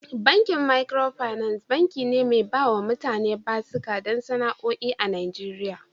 Bankin Micro finance, banki ne mai bawa mutane basuka don sana'o'i a Najeriya